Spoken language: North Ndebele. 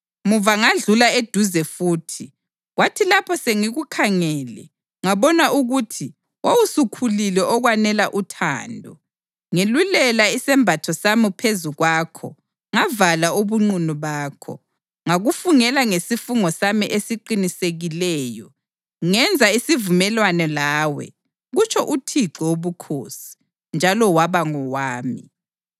Muva ngadlula eduze futhi, kwathi lapho sengikukhangele ngabona ukuthi wawusukhulile okwanela uthando, ngelulela isembatho sami phezu kwakho ngavala ubunqunu bakho. Ngakufungela ngesifungo sami esiqinisekileyo, ngenza isivumelwano lawe, kutsho uThixo Wobukhosi, njalo waba ngowami.